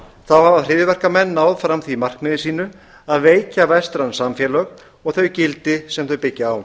þá hafa hryðjuverkamenn náð fram því markmiði sínu að veikja vestræn samfélög og þau gildi sem þau byggja á